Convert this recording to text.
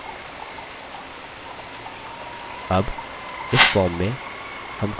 अब इस form में हम कुछ मिसाल के तौर पर data देख सकते हैं